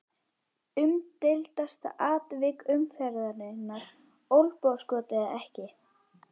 Umdeildasta atvik umferðarinnar: Olnbogaskot eða ekki?